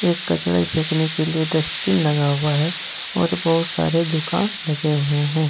एक कचड़े फेंकने के लिए डस्टबिन लगा हुआ है और बहुत सारी दुकान लगे हुए हैं।